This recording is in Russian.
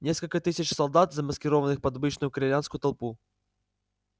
несколько тысяч солдат замаскированных под обычную корелианскую толпу